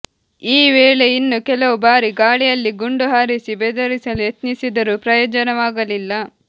ಈ ವೇಳೆ ಇನ್ನೂ ಕೆಲವು ಬಾರಿ ಗಾಳಿಯಲ್ಲಿ ಗುಂಡು ಹಾರಿಸಿ ಬೆದರಿಸಲು ಯತ್ನಿಸಿದರೂ ಪ್ರಯೋಜನವಾಗಲಿಲ್ಲ